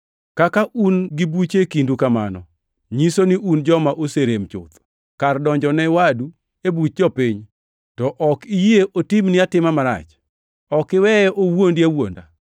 Kaka un gi buche e kindu kamano, nyiso ni un joma oserem chuth. Kar donjo ne wadu e buch jopiny, to ok iyie otimni atima marach? Ok iweye owuondi awuonda?